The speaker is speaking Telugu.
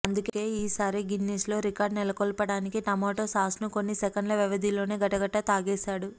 అందుకే ఈసారి గిన్నిస్లో రికార్డ్ నెలకొల్పటానికి టమోటా సాస్ను కొన్ని సెకన్ల వ్యవధిలోనే గటగటా తాగేసాడు